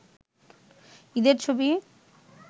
ঈদের ছবি